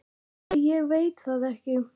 Æi ég veit það ekki.